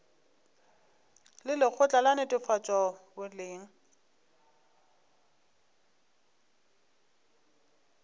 le lekgotla la netefatšo boleng